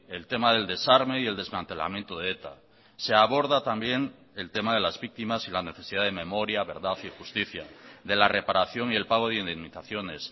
el tema del desarme y el desmantelamiento de eta se aborda también el tema de las víctimas y la necesidad de memoria verdad y justicia de la reparación y el pago de indemnizaciones